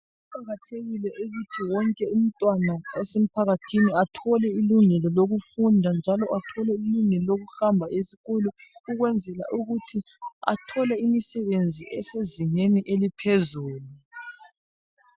Kuqakathekile ukuthi wonke umntwana osemphakathini, athole ilungelo lokufunda, njalo athole ilungelo lokuhamba esikolo. Ukwenzela ukuthi athole imisebenzi, esezingeni eliphezulu.